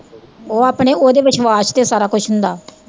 ਉਹ ਆਪਣੇ ਓਹਦੇ ਵਿਸ਼ਵਾਸ਼ ਤੇ ਸਾਰਾ ਕੁਛ ਹੁੰਦਾ